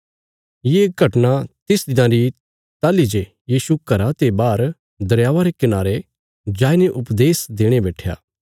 ये घटना तिस दिना री ताहली जे यीशु घरा ते बाहर दरयावा रे कनारे जाईने उपदेश देणे बैट्ठया